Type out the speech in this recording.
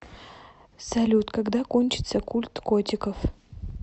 салют когда кончится культ котиков